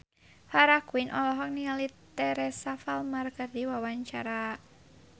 Farah Quinn olohok ningali Teresa Palmer keur diwawancara